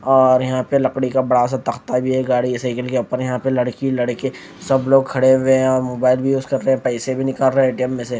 और यहां पे लकड़ी का बड़ा सा तख्ता भी है गाड़ी साइकिल अपने यहां पे लड़की लड़के सब लोग खड़े हुए और मोबाइल भी यूज कर रहे है पैसे भी निकल रहे है ए_टी_एम में से--